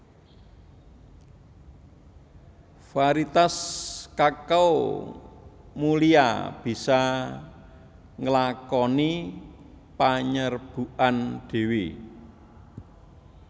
Variétas kakao mulia bisa nglakoni panyerbukan dhéwé